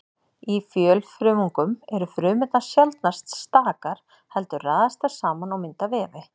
Í fjölfrumungum eru frumurnar sjaldnast stakar heldur raðast þær saman og mynda vefi.